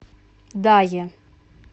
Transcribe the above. дае